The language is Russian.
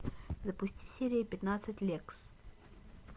запусти серию пятнадцать лексс